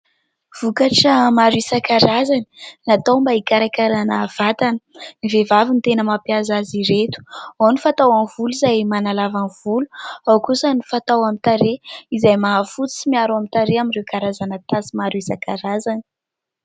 Vokatra maro isankarazany natao mba hikarakarana vatana. Ny vehivavy no tena mampiasa azy ireto, ao ny fatao amin'ny volo izay manalava ny volo, ao kosa ny fatao amin'ny tarehy izay mahafotsy sy miaro ny tarehy amin'ireo karazana tasy maro isankarazany.